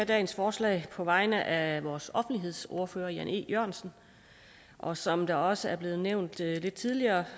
dagens forslag på vegne af vores offentlighedsordfører jan e jørgensen og som det også er blevet nævnt tidligere tidligere